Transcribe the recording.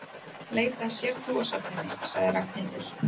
Leita að sértrúarsöfnuði sagði Ragnhildur.